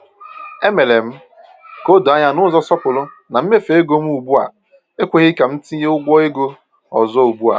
E mere m ka o doo anya n’ụzọ nsọpụrụ na mmefu ego m ugbu a ekweghi ka m tinye ụgwọ ego ọzọ ugbu a.